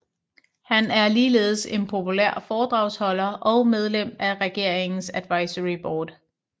Han er ligeledes en populær foredragsholder og medlem af regeringens advisory board